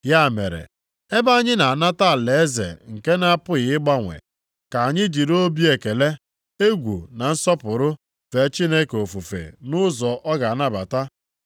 Ya mere, ebe anyị na-anata alaeze nke na-apụghị ịgbanwe, ka anyị jiri obi ekele, egwu na nsọpụrụ fee Chineke ofufe nʼụzọ ọ ga-anabata.